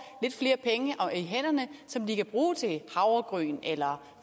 lidt flere penge i hænderne som de kan bruge til havregryn eller